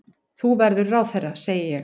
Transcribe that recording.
Þú verður ráðherra, segi ég.